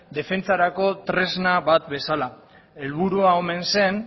defentsarako tresna bat bezala helburua omen zen